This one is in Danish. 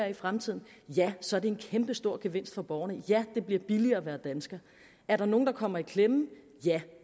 i fremtiden ja så er det en kæmpestor gevinst for borgerne og ja det bliver billigere at være dansker er der nogen der kommer i klemme ja